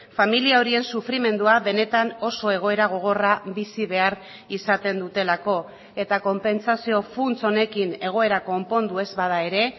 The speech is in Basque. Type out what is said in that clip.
familia horien sufrimendua benetan oso egoera gogorra bizi behar izaten dutelako eta konpentsazio funts honekin egoera konpondu ez bada ere